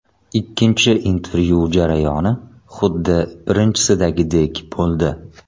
Ikkinchi intervyu jarayoni xuddi birinchisidagidek bo‘ldi.